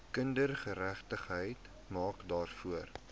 kindergeregtigheid maak daarvoor